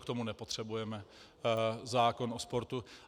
K tomu nepotřebujeme zákon o sportu.